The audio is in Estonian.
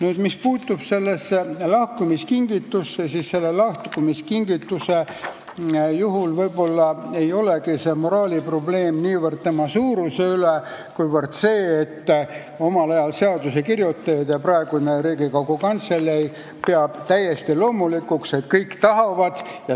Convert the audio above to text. Mis aga puutub sellesse lahkumiskingitusse, siis selle puhul võib-olla ei olegi moraalne probleem niivõrd selle suuruses, kuivõrd selles, et omal ajal pidasid seaduse kirjutajad ja peab ka praegune Riigikogu Kantselei täiesti loomulikuks, et kõik seda tahavad.